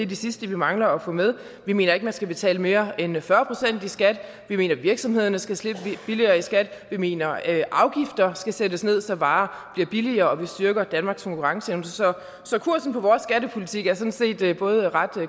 de sidste vi mangler at få med vi mener ikke at man skal betale mere end fyrre procent i skat vi mener at virksomhederne skal slippe billigere i skat vi mener at afgifter skal sættes ned så varer bliver billigere og vi styrker danmarks konkurrenceevne så kursen på vores skattepolitik er sådan set både ret